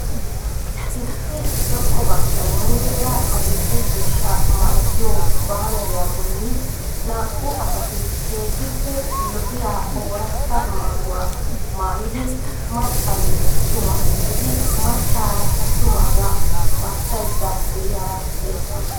Issi zokko baggay muleera adil'e ciishsha malattiyo baaneriya bolli na'uu asatti keehiippe lo'iyaa oorata maayuwaa maayidi maccanne atuma gidid maccaara attumaagaa barssayda de'iyaara beettawusu.